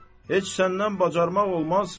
Heç səndən bacarmaq olmaz.